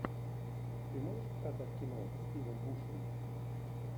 ты можешь показать кино стивом бушеми